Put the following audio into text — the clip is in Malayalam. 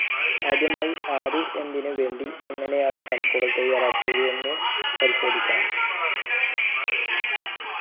ആദ്യമായി ആദി എന്തിനു വേണ്ടി എങ്ങനെയാണ് ഈ കണക്കുകൾ തയ്യാറാക്കിയത് എന്നു പരിശോധിക്കണം